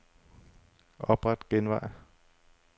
Opret genvej.